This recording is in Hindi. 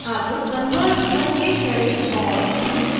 अब convert पर click करे और to 3d चुनें